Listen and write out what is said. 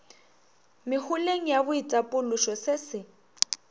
meholeng ya boitapološo se se